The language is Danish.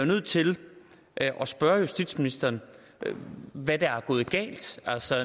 nødt til at spørge justitsministeren hvad der er gået galt altså